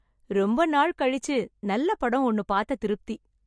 ரொம்ப நாள் கழிச்சு நல்ல படம் ஒண்ணு பார்த்த திருப்தி.